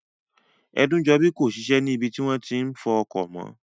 Ẹdúnjọbí kò ní ṣiṣẹ́ ní ibi tí wọ́n ti máa n fọ ọkọ̀ mọ́